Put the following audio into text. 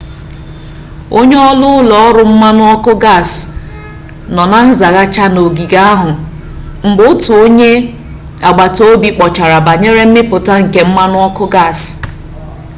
onye-oru ulo-oru mmanu-oku gas no na nzaghachi na ogige ahu mgbe otu onye-agbata-obi kpochara banyere mmiputa nke mmanu-oku gas